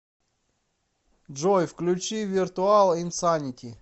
джой включи виртуал инсанити